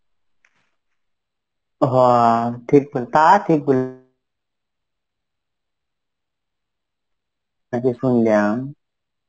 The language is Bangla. হ ঠিক বল~ তা ঠিক বল. শুনলাম